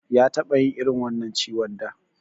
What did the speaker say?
Ya taɓa yin irin wannan ciwon da.